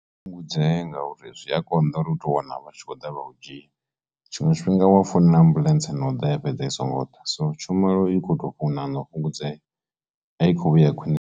Fhungudzee ngauri zwi a konḓa uri u tou wana vha tshi khou ḓa vha u dzhia tshiṅwe tshifhinga wa founela ambuḽentse no ḓa ya fhedza i songo ḓa so tshumelo i khoto ṋaṋa u fhungudzea i kho vhuya khwini.